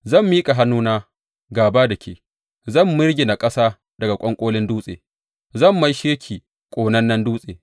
Zan miƙa hannuna gāba da ke, zan mirgina ƙasa daga ƙwanƙolin dutse, zan maishe ki ƙonannen dutse.